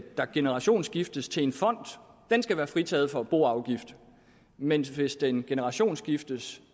der generationsskiftes til en fond skal være fritaget for boafgift men hvis den generationsskiftes